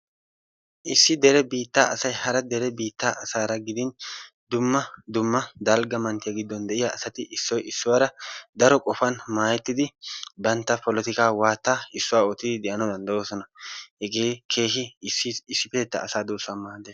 issi dere biittaa asay hara dere biittaa asay gidin dumma dumma dalgga manttiyaa giddon de'iyaa asati issoy issuwaara daro qofan maayettidi bantta polotikkaa waattaa issuwaa ootti de'anawu danddooyosna. hegee keehi issipettettaa duussaa maaddees.